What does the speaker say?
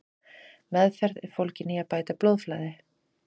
Meðferð er fólgin í að bæta blóðflæði.